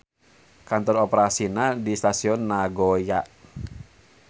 Kantor operasina di Stasion Nagoya.